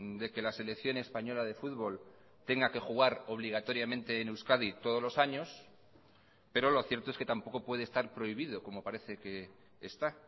de que la selección española de fútbol tenga que jugar obligatoriamente en euskadi todos los años pero lo cierto es que tampoco puede estar prohibido como parece que está